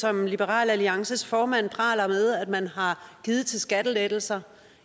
som liberal alliances formand praler med at man har givet til skattelettelser